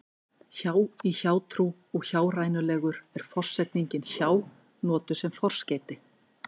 hjá í hjátrú og hjárænulegur er forsetningin hjá notuð sem forskeyti